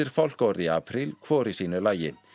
fálkaorðu í apríl hvor í sínu lagi